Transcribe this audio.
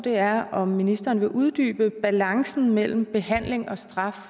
er om ministeren vil uddybe balancen mellem behandling og straf